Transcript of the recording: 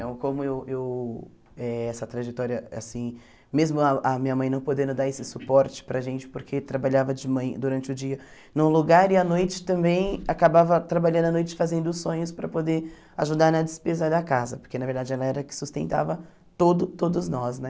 Então, como eu eu eh... Essa trajetória, assim, mesmo ah a minha mãe não podendo dar esse suporte para a gente, porque trabalhava de man durante o dia num lugar, e à noite também, acabava trabalhando à noite, fazendo sonhos para poder ajudar na despesa da casa, porque, na verdade, ela era a que sustentava todo todos nós, né?